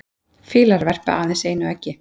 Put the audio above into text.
fýlar verpa aðeins einu eggi